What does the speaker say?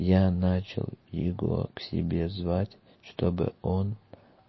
я начал его к себе звать чтобы он